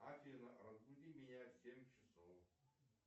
афина разбуди меня в семь часов